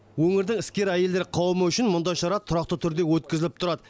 өңірдің әскер әйелдер қауымы үшін мұндай шара тұрақты түрде өткізіліп тұрады